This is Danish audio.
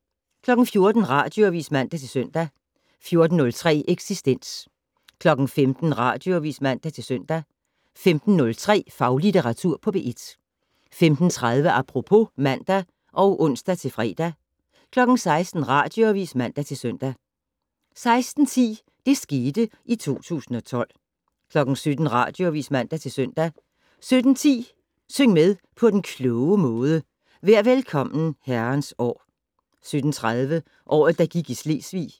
14:00: Radioavis (man-søn) 14:03: Eksistens 15:00: Radioavis (man-søn) 15:03: Faglitteratur på P1 15:30: Apropos (man og ons-fre) 16:00: Radioavis (man-søn) 16:10: Det skete i 2012 17:00: Radioavis (man-søn) 17:10: Syng med på den kloge måde: Vær Velkommen, Herrens År 17:30: Året, der gik i Selvsving